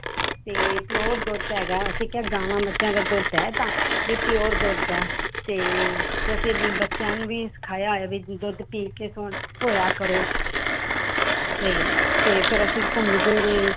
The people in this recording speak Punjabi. ਤੇ pure ਦੁੱਧ ਹੈਗਾ ਹੈ ਅਸੀਂ ਕਿਹਾ ਗਾਵਾਂ ਮੱਝਾਂ ਦਾ ਦੁੱਧ ਹੈ ਇਹ ਤਾਂ ਵੀ pure ਦੁੱਧ ਹੈ, ਤੇ ਤੇ ਬੱਚਿਆਂ ਨੂੰ ਵੀ ਸਿਖਾਇਆ ਹੈ ਵੀ ਦੁੱਧ ਪੀ ਕੇ ਸੌਣਾ ਸੋਇਆ ਕਰੋ ਤੇ ਤੇ ਫਿਰ ਅਸੀਂ ਘੁੰਮਦੇ ਰਹੇ।